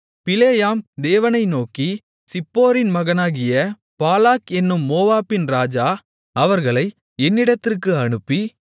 பிலேயாம் தேவனை நோக்கி சிப்போரின் மகனாகிய பாலாக் என்னும் மோவாபின் ராஜா அவர்களை என்னிடத்திற்கு அனுப்பி